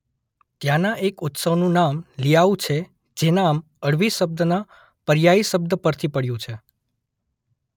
ત્યાંના એક ઉત્સવનું નામ લિઆઉ છે જે નામ અળવી શબ્દના પર્યાયી શબ્દ પરથી પડ્યું છે.